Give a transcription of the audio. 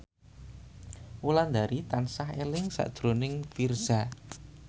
Wulandari tansah eling sakjroning Virzha